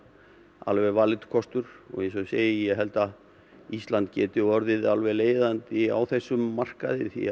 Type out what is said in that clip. alveg kostur eins og ég segi ég held að Ísland geti orðið leiðandi á þessum markaði því